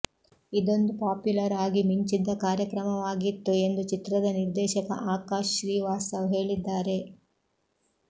ಇದೊಂದು ಪ್ಯಾಪುಲರ್ ಆಗಿ ಮಿಂಚಿದ್ದ ಕಾರ್ಯಕ್ರಮವಾಗಿತ್ತು ೆಎಂದು ಚಿತ್ರದ ನಿರ್ದೇಶಕ ಆಕಾಶ್ ಶ್ರೀವಾತ್ಸವ್ ಹೇಳಿದ್ದಾರೆ